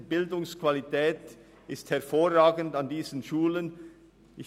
Die Bildungsqualität an diesen Schulen ist hervorragend.